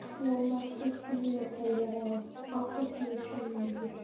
Jómar, stilltu niðurteljara á áttatíu og sjö mínútur.